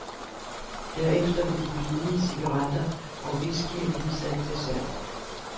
Derefter vil de billige cigaretter og whiskyen blive sat til salg.